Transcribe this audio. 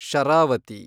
Sharavati